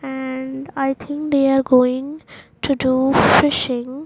and i think they are going to do fishing.